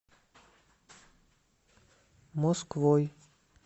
москвой